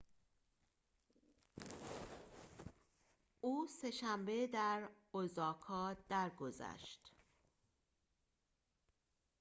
او سه‌شنبه در اوزاکا درگذشت